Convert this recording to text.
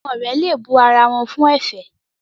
Àwọn òré le bù àrà wón àrà wón fún efè